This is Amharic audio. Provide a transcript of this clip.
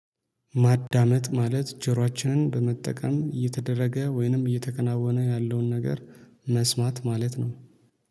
ማዳመጥ ማለት ጀሯችንን በመጠቀም እየተደረገ ወይንም እየተከናወነ ያለውን ነገር መስማት ማለት ነው